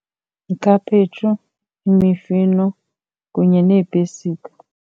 Ikhaphetshu, imifino kunye neepesika.